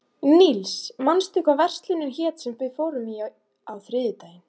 Níls, manstu hvað verslunin hét sem við fórum í á þriðjudaginn?